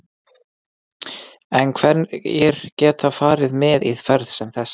En hverjir geta farið með í ferð sem þessa?